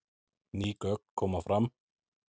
Ný gögn koma fram